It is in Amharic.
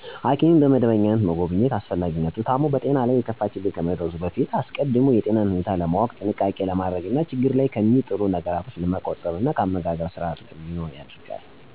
ሐኪምን በመደበኛነት መጎብኘት አስፈላጊነቱ ታሞ በጤናው ላይ የከፋ ችግር ከመድረሱ በፊት አስቀድሞ የጤናን ሁኔታ በማወቅ ጥንቃቄ ለማድረግ እና ችግር ላይ ከሚጥሉት ነገሮች ለመቆጠብ እና የአመጋገብ ስርአት እንዲኖር ያደርጋል። ጤናማ ሁነው ለመቆየት መደረግ ያለባቸው ነገሮች : 1-የግልና የአካባቢን ንጽህና መጠበቅ። 2-ጥሬ ነገሮችን በእሳት ያልበሰሉትን አለመመገብ። 3-ጣፋጭ ነገሮችን አለማዘውተር። 4-ስብ የበዛባቸውን አለመመገብ። 5-የምኝታ ቦታን በዛንዚራ (በአጎበር)መጠቀም። 6-ስለታማ ነገሮችን በጋራ አለመጠቀም። 7-የተመጣጠኑ ምግቦችን መመገብ የመሳሰሉት ናቸው።